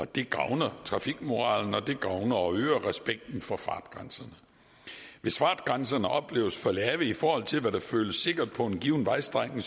det gavner trafikmoralen og det gavner og øger respekten for fartgrænserne hvis fartgrænserne opleves som for lave i forhold til hvad der føles sikkert på en given vejstrækning